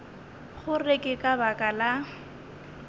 gore ke ka baka la